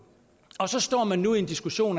og så står man nu i en diskussion